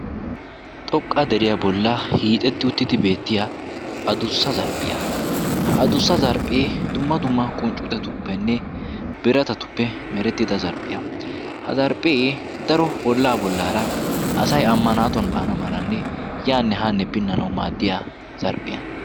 Xoqqa deriyaa bolla hiixetti uttidi beettiya adussa zarphphiyaa ha adussa zarphphi dumma dumma qunccutetuppenne biratatuppe merettida zarphphiyaa. ha zarphphii daro ollaa bollaara asay amma naatuwan baana maranne yaanne haanne pinnanawu maaddiya zarphphiyaa.